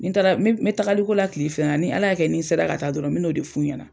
Nin taara, n n bɛ taagaliko la kile fila in na, ni ala y'a kɛ nin sera ka taa dɔrɔn me n'o de fu ɲɛna.